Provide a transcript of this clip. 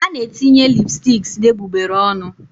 A na-etinye lipsticks na egbugbere ọnụ